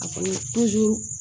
A kɔni